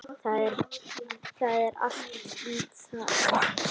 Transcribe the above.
Það er allt það létta.